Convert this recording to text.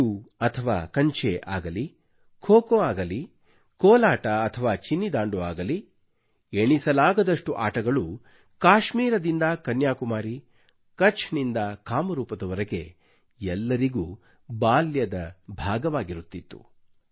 ಪಿಟ್ಟೂ ಅಥವಾ ಕಂಚೆ ಆಗಲಿ ಖೋ ಖೋ ಅಗಲಿ ಕೋಲಾಟ ಅಥವಾ ಚಿನ್ನಿ ದಾಂಡು ಅಗಲಿ ಎಣಿಸಲಾಗದಷ್ಟು ಆಟಗಳು ಕಾಶ್ಮೀರದಿಂದ ಕನ್ಯಾಕುಮಾರಿ ಕಛ್ಚ್ ನಿಂದ ಕಾಮರೂಪ್ ನವರೆಗೆ ಎಲ್ಲರಿಗೂ ಬಾಲ್ಯದ ಭಾಗವಾಗಿರುತ್ತಿತ್ತು